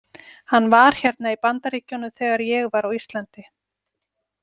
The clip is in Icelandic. Hann var hérna í Bandaríkjunum þegar ég var á Íslandi.